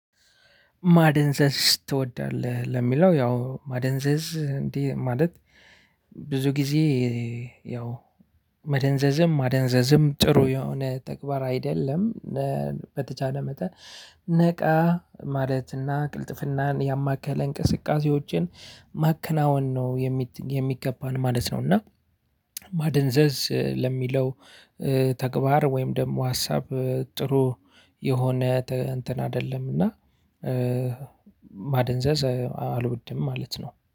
ማደንዘዝ ትወዳለህ ለሚለው ያው ማደንዘዝ እንዲህ ማለት ብዙ ጊዜ ያው መደንዘዝም ማደንዘዝም ጥሩ የሆነ ተግባር አይደለም። በተቻለ መጠን ነቃ ማለትና ቅልጥፍናን ያማከለ እንቅስቃሴዎችን ማከናወን ነው የሚገባን ማለት ነው። እና ማደንዘዝ ለሚለው ተግባር ወይም ደግሞ ሀሳብ ጥሩ የሆነ እንትን አይደለም እና። ማደንዘዝ አልወድም ማለት ነው